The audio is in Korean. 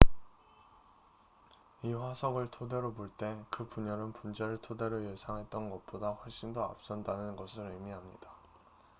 """이 화석을 토대로 볼 때 그 분열은 분자를 토대로 예상했던 것보다 훨씬 더 앞선다는 것을 의미합니다.